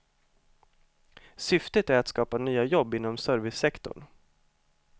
Syftet är att skapa nya jobb inom servicesektorn.